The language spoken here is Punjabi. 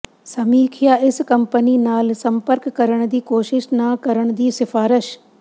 ਸਮੀਖਿਆ ਇਸ ਕੰਪਨੀ ਨਾਲ ਸੰਪਰਕ ਕਰਨ ਦੀ ਕੋਸ਼ਿਸ਼ ਨਾ ਕਰਨ ਦੀ ਸਿਫਾਰਸ਼